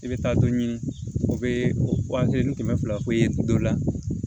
I bɛ taa dɔ ɲini o bɛ o waa kelen ni kɛmɛ fila ye dɔ la